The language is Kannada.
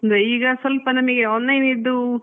ಅದೇ ಈಗ ನಮ್ಗೆ ಸ್ವಲ್ಪ online ದ್ದು